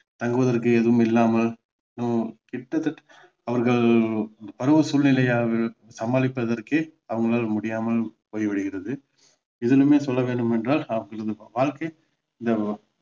தங்குவதற்கு எதுவும் இல்லாமல் கிட்டத்தட்ட அவர்கள் பருவ சூழ்நிலையை சமாளிப்பதறக்கே அவர்களால் முடியாமல் போய் விடுகிறது இதிலுமே சொல்ல வேண்டும் என்றால் வாழ்க்கை